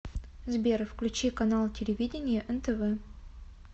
сбер включи канал телевидения нтв